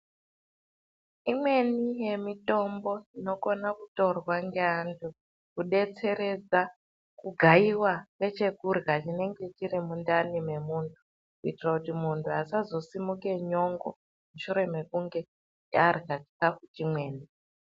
Imweni yemitombo inokone kutorwa ngeantu kudetseredza kugayiwa kwechekurya chinenge chiri mundani mwemuntu , kuitire kuiti muntu asazo simuke nyongo shure kwekunge arya chikafu chimweni.